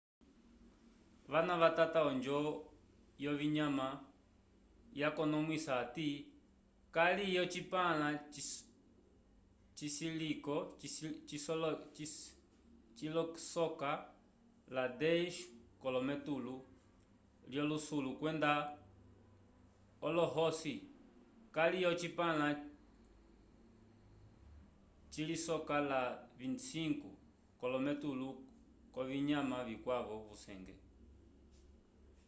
vana vatata onjo yovinyama yakonomwisa hati kali ocipãla cilisoka la 100 k'olometulu l'olohusulu kwenda olohosi kali ocipãla cilisoka la 25 k'olometulu k'ovinyama vikwavo vyusenge